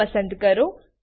ઓ પસંદ કરો